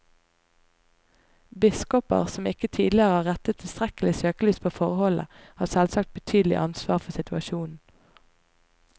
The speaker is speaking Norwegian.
Biskoper som ikke tidligere har rettet tilstrekkelig søkelys på forholdene, har selvsagt betydelig ansvar for situasjonen.